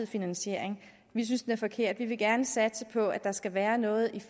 finansiering vi synes den er forkert vi vil gerne satse på at der skal være noget